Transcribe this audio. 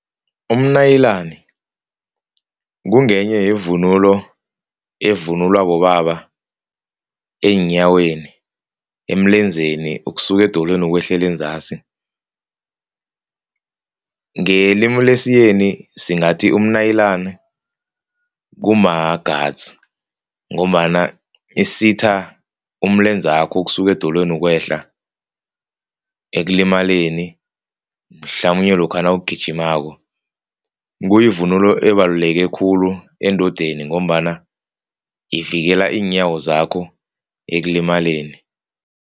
Umnayilani kungenye yevunulo evunulwa bobaba eenyaweni, emlenzeni ukusuka edolweni ukwehlela enzasi. Ngelimu lesiyeni singathi umnayilani kuma-gats ngombana isitha umlenzakho ukusuka edolweni ukwehla. Ekulimaleni mhlamunye lokha nawugijimako. Kuyivunulo ebaluleke khulu endodeni ngombana ivikela iinyawo zakho ekulimaleni.